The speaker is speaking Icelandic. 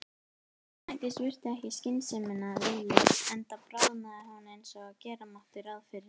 Og Snædís virti ekki skynsemina viðlits- enda bráðnaði hún eins og gera mátti ráð fyrir.